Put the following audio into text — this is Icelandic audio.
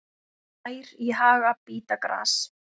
Ær í haga bíta gras.